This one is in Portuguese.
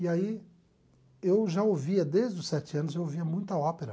E aí eu já ouvia, desde os sete anos, eu ouvia muita ópera.